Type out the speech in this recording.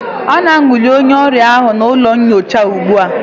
A na-anwale onye ọrịa ahụ n'ụlọ nyocha ugbu a